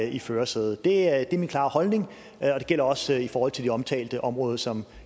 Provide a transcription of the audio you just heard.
i førersædet det er min klare holdning og det gælder også i forhold til det omtalte område som